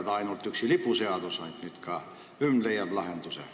See ei ole üksi lipuseadus, nüüd leiab ka hümn seal lahenduse.